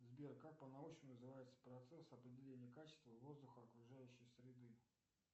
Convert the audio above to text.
сбер как по научному называется процесс определения качества воздуха окружающей среды